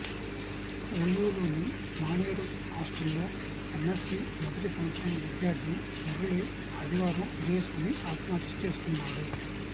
ఓయూలోని మానేరు హాస్టల్లో ఎమ్మెస్సీ మొదటి సంవత్సరం విద్యార్థి మురళి ఆదివారం ఉరేసుకుని ఆత్మహత్య చేసుకున్నాడు